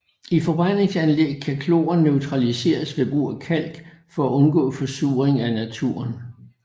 I forbrændingsanlæg kan kloren neutraliseres ved brug af kalk for at undgå forsuring af naturen